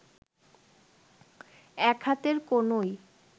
এক হাতের কনুই